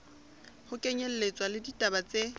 ho kenyelletswa le ditaba tse